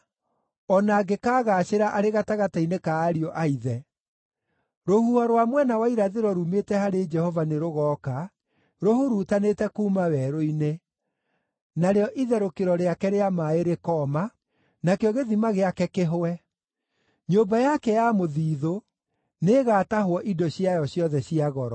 o na angĩkaagaacĩra arĩ gatagatĩ-inĩ ka ariũ a ithe. Rũhuho rwa mwena wa irathĩro ruumĩte harĩ Jehova nĩrũgooka, rũhurutanĩte kuuma werũ-inĩ; narĩo itherũkĩro rĩake rĩa maaĩ rĩkooma, nakĩo gĩthima gĩake kĩhũe. Nyũmba yake ya mũthiithũ nĩĩgatahwo indo ciayo ciothe cia goro.